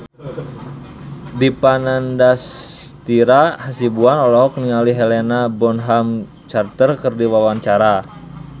Dipa Nandastyra Hasibuan olohok ningali Helena Bonham Carter keur diwawancara